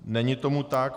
Není tomu tak.